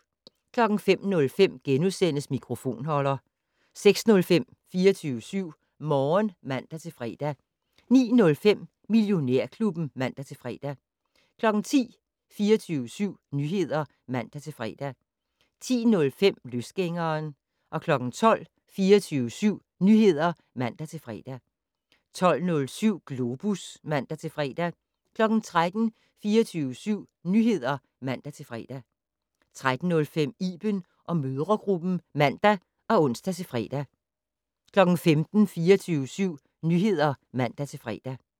05:05: Mikrofonholder * 06:05: 24syv Morgen (man-fre) 09:05: Millionærklubben (man-fre) 10:00: 24syv Nyheder (man-fre) 10:05: Løsgængeren 12:00: 24syv Nyheder (man-fre) 12:07: Globus (man-fre) 13:00: 24syv Nyheder (man-fre) 13:05: Iben & mødregruppen (man og ons-fre) 15:00: 24syv Nyheder (man-fre)